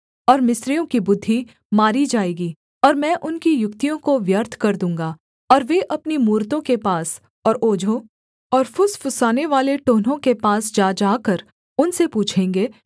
और मिस्रियों की बुद्धि मारी जाएगी और मैं उनकी युक्तियों को व्यर्थ कर दूँगा और वे अपनी मूरतों के पास और ओझों और फुसफुसानेवाले टोन्हों के पास जा जाकर उनसे पूछेंगे